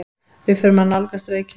Við förum að nálgast Reykjavík.